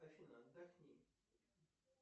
афина отдохни